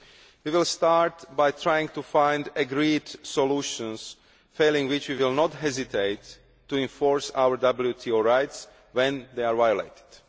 We will start by trying to find agreed solutions, failing which we will not hesitate to enforce our WTO rights if they are violated.